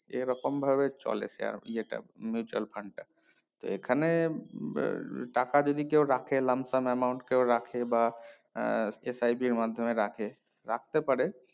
এ রকম ভাবে চলে share ইয়েটা mutual fund টা এখানে এর টাকা যদি কেও রাখে লামশ্যাম amount কেও রাখে বা আহ সেটাই যে মাধ্যমে রাখে রাখতে পারে